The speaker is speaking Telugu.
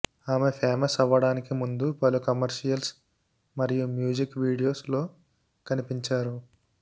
ఆమె ఫేమస్ అవ్వడానికి ముందు పలు కమర్షియల్స్ మరియు మ్యూజిక్ వీడియోస్ లో కనిపించారు